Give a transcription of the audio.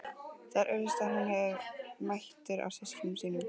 Það er augsýnilegt að hún hefur mætur á systkinum sínum.